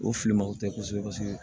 O filimanw tɛ kosɛbɛ kosɛbɛ